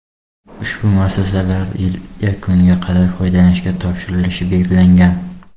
Ushbu muassasalar yil yakuniga qadar foydalanishga topshirilishi belgilangan.